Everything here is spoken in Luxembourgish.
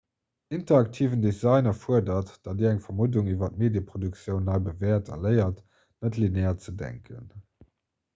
interaktiven design erfuerdert datt dir eng vermuddung iwwer d'medieproduktioun nei bewäert a léiert net-linear ze denken